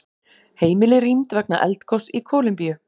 Heimili rýmd vegna eldgoss í Kólumbíu